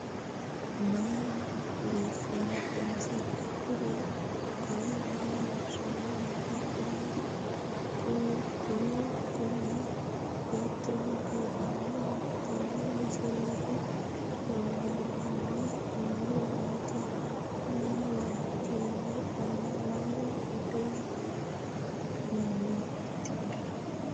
mayra biiffinote misile? kuri qole maa leellishannoreeti? kuulu kuni hiittooho biifannoho tenne misilehu? uullaanni noori maati? kni waajjuulle calla mayra uddirino mannatikka